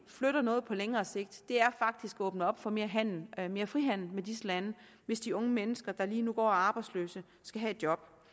flytter noget på længere sigt er faktisk at åbne op for mere handel mere frihandel med disse lande hvis de unge mennesker der lige nu går og er arbejdsløse skal have et job